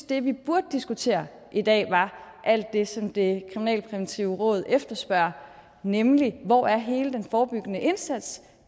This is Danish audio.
det vi burde diskutere i dag var alt det som det kriminalpræventive råd efterspørger nemlig hvor hele den forebyggende indsats